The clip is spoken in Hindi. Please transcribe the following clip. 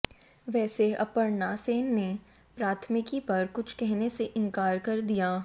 वैसे अपर्णा सेन ने प्राथमिकी पर कुछ कहने से इनकार कर दिया